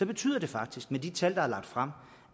betyder det faktisk med de tal der er lagt frem